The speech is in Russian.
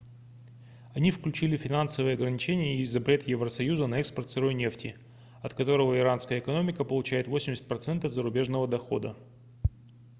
они включили финансовые ограничения и запрет евросоюза на экспорт сырой нефти от которого иранская экономика получает 80% зарубежного дохода